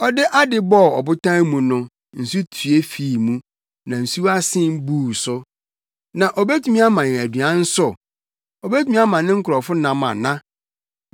Ɔde ade bɔɔ ɔbotan mu no, nsu tue fii mu, na nsuwa sen buu so. Na obetumi ama yɛn aduan nso? Obetumi ama ne nkurɔfo nam ana?”